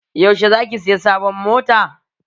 Yaushe za ki saya sabon mota?